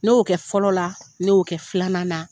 Ne y'o kɛ fɔlɔ la, ne y'o kɛ filanan na.